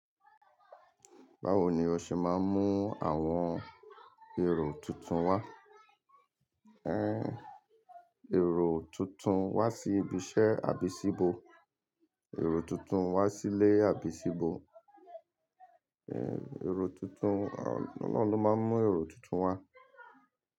Báwo ni o ṣe máa ń mú àwọn èrò tuntun wá? Èrò tuntun wá sí ibi iṣẹ́ àbísíbo, èrò tuntun wá sílé àbísíbo, èrò tuntun, Ọlọhun lọ máa ń mú èrò tuntun wá.